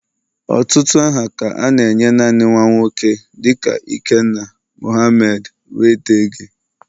Ọtụtụ aha ka a na-enye naanị nwa nwoke dịka ikenna, Mohamed wdg